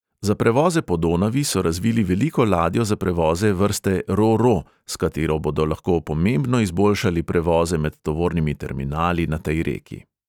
Za prevoze po donavi so razvili veliko ladjo za prevoze vrste ro-ro, s katero bodo lahko pomembno izboljšali prevoze med tovornimi terminali na tej reki.